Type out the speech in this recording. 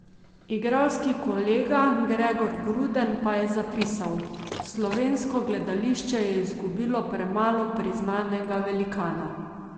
Igralski kolega Gregor Gruden pa je zapisal: "Slovensko gledališče je izgubilo premalo priznanega velikana.